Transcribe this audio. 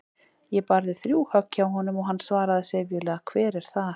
Ég barði þrjú högg hjá honum og hann svaraði syfjulega: Hver er þar?